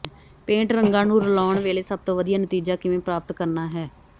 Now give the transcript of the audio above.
paint ਰੰਗਾਂ ਨੂੰ ਰਲਾਉਣ ਵੇਲੇ ਸਭ ਤੋਂ ਵਧੀਆ ਨਤੀਜਾ ਕਿਵੇਂ ਪ੍ਰਾਪਤ ਕਰਨਾ ਹੈ